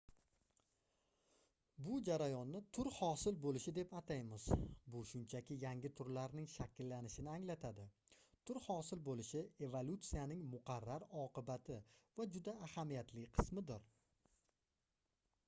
bu jarayonni tur hosil boʻlishi deb ataymiz bu shunchaki yangi turlarning shakllanishini anglatadi tur hosil boʻlishi evolyutsiyaning muqarrar oqibati va juda ahamiyatli qismidir